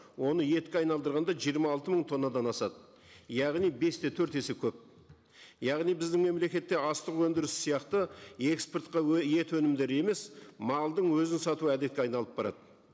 оны етке айналдырғанда жиырма алты мың тоннадан асады яғни бес те төрт есе көп яғни біздің мемлекетте астық өндірісі сияқты экспортқа ет өнімдері емес малдың өзін сату әдетке айналып барады